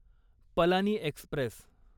Palani Express